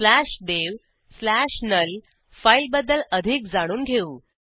slash dev slash null devनुल फाईलबद्दल अधिक जाणून घेऊ